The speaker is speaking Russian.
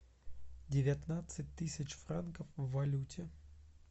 девятнадцать тысяч франков в валюте